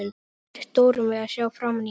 Mér létti stórum við að sjá framan í hana.